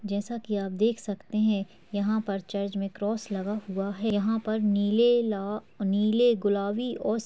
जैसा की आप देख सकते हैं यहाँ पर चर्च में क्रॉस बना हुआ है | यहाँ पर नीले लाल नीले गुलाबी और --